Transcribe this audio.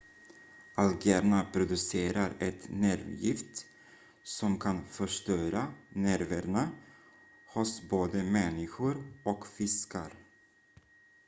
algerna producerar ett nervgift som kan förstöra nerverna hos både människor och fiskar